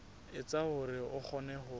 etsa hore o kgone ho